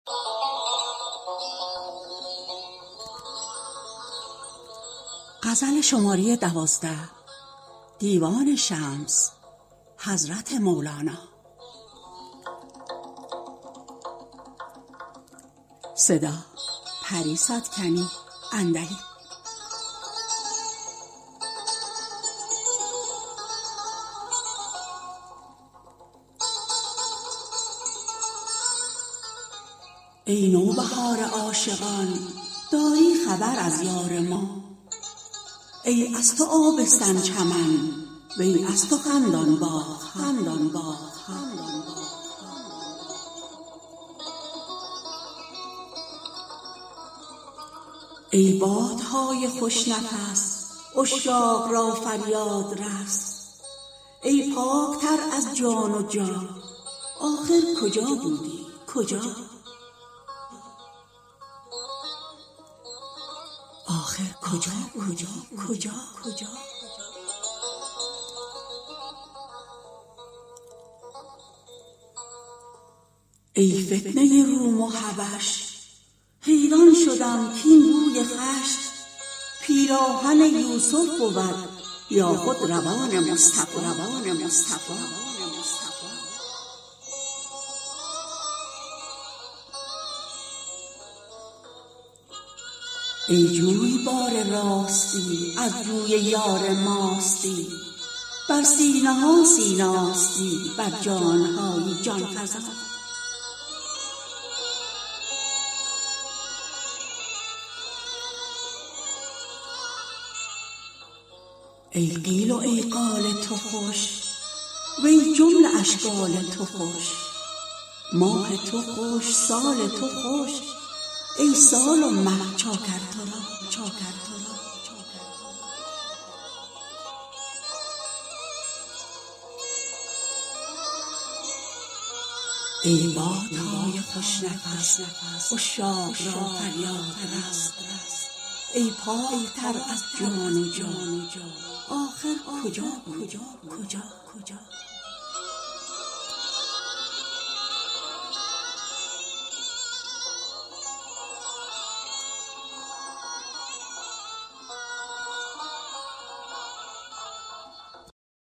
ای نوبهار عاشقان داری خبر از یار ما ای از تو آبستن چمن وی از تو خندان باغ ها ای باد نای خوش نفس عشاق را فریاد رس ای پاک تر از جان جا ن آخر کجا بودی کجا ای فتنه روم و حبش حیران شدم کاین بوی خوش پیراهن یوسف بود یا خود ردای مصطفی ای جویبار راستی از جوی یار ماستی بر سینه ها سیناستی بر جان هایی جان فزا ای قیل و ای قال تو خوش و ای جمله اشکال تو خوش ماه تو خوش سال تو خوش ای سال و مه چاکر تو را